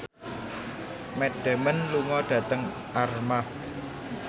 Matt Damon lunga dhateng Armargh